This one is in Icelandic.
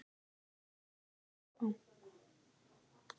Ófremdarástand í Álaborg